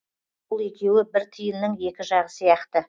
бұл екеуі бір тиынның екі жағы сияқты